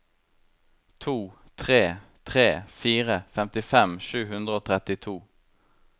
to tre tre fire femtifem sju hundre og trettito